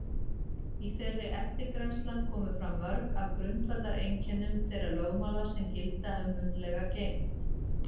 Í þeirri eftirgrennslan komu fram mörg af grundvallareinkennum þeirra lögmála sem gilda um munnlega geymd.